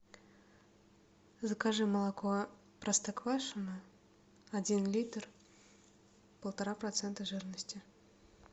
закажи молоко простоквашино один литр полтора процента жирности